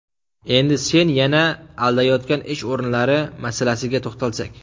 Endi sen yana aldayotgan ish o‘rinlari masalasiga to‘xtalsak.